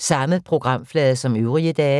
DR P3